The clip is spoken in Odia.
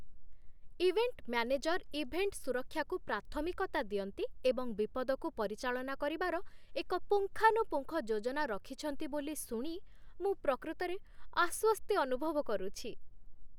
ଇଭେଣ୍ଟ ମ୍ୟାନେଜର୍ ଇଭେଣ୍ଟ ସୁରକ୍ଷାକୁ ପ୍ରାଥମିକତା ଦିଅନ୍ତି ଏବଂ ବିପଦକୁ ପରିଚାଳନା କରିବାର ଏକ ପୁଙ୍ଖାନୁପୁଙ୍ଖ ଯୋଜନା ରଖିଛନ୍ତି ବୋଲି ଶୁଣି ମୁଁ ପ୍ରକୃତରେ ଆଶ୍ୱସ୍ତି ଅନୁଭବ କରୁଛି।